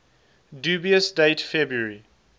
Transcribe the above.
dubious date february